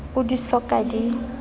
oo di so ka di